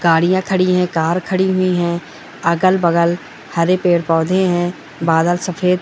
गाड़िया खड़ी है कार खड़ी हुई है अगल-बगल हरे पेड़-पौधे है बादल सफेद --